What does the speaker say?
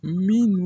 Min